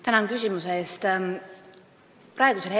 Tänan küsimuse eest!